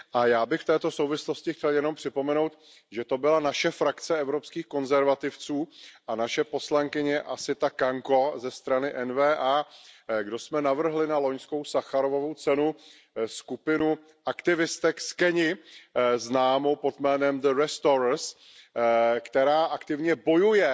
Já bych v této souvislosti chtěl jen připomenout, že to byla naše frakce Evropských konzervativců a naše poslankyně Assita Kanko ze strany N VA, kdo jsme navrhli na loňskou Sacharovovu cenu skupinu aktivistek z Keni známou pod názvem The Restorers která aktivně bojuje